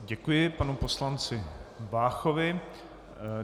Děkuji panu poslanci Váchovi.